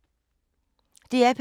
DR P2